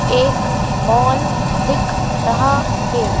एक मॉल दिख रहा है।